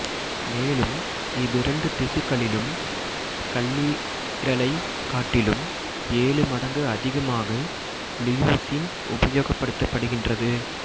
மேலும் இவ்விரண்டு திசுக்களிலும் கல்லீரலைக் காட்டிலும் ஏழு மடங்கு அதிகமாக லியூசின் உபயோகப்படுத்தப்படுகின்றது